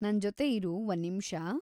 ನಂಜೊತೆ ಇರು ಒಂದ್ ನಿಮ್ಷ.‌